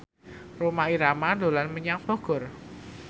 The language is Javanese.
Rhoma Irama dolan menyang Bogor